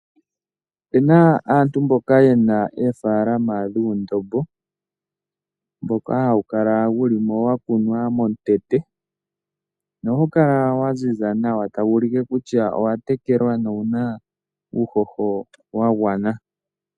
Opuna aantu mboka ye na oofalaama dhuundombo mboka hawu kala wu li mo wa kunwa momukweyo. Ohawu kala wa ziza nawa ta wu ulike kutya owa tekelwa na owu na uuhoho wa gwana.